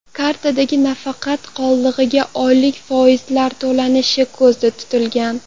Kartadagi nafaqa qoldig‘iga oylik foizlar to‘lanishi ko‘zda tutilgan.